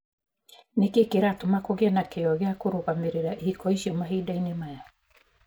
Nĩ kĩĩ kĩratũma kũgie na kĩyo gĩa kũrũgamĩrĩra ihiko icio mahinda-inĩ maya?